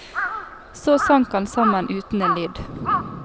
Så sank han sammen uten en lyd.